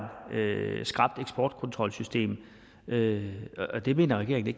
skrapt eksportkontrolsystem det mener regeringen